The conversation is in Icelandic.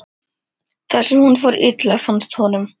þar sem hún fór illa, fannst honum.